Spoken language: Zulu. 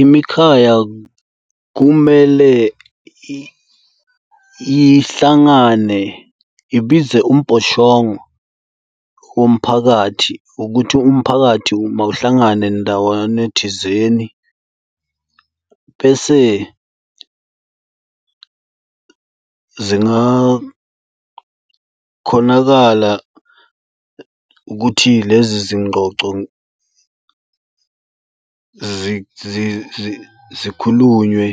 Imikhaya kumele ihlangane ibize umbhoshongo womphakathi ukuthi umphakathi mawuhlangane ndawana thizeni. Bese zingakhonakala ukuthi lezi zingxoxo zikhulunywe